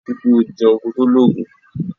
Ri i pe o jeun ko to logun.